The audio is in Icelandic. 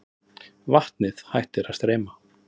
Vatnið hættir að streyma.